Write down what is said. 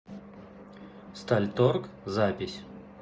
стальторг запись